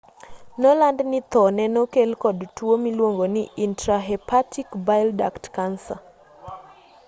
noland ni tho nee nokel kod tuo miluongo ni intrahepatic bile duct cancer